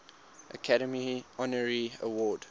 academy honorary award